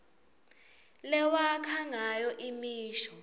lewakha ngayo imisho